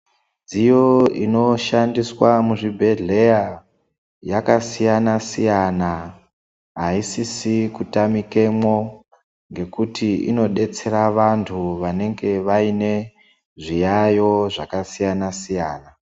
Midziyo inoshandiswa muzvibhedhlera yakasiyana Siyana asisiri kutamikamo nekuti inodetsera vantu vanenge vaine zviyayo zvakasiyana siyana.